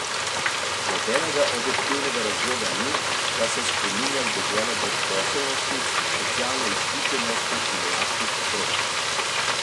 Nobenega objektivnega razloga ni, da se spreminja v deželo brezposelnosti, socialne izključenosti in lačnih otrok!